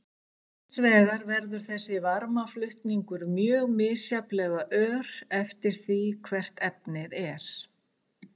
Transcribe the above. Hins vegar verður þessi varmaflutningur mjög misjafnlega ör eftir því hvert efnið er.